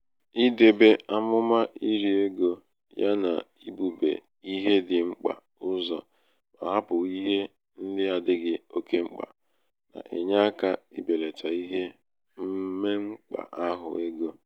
idēbē amụ̀mà iri egō ya nà ibūbē ihe dị̄ mkpà uzọ̀ mà hapụ̀ ihe ndị adịghị oke mkpà nà-ènye akā ibèlàtà ihe mmekpà- ahụ egō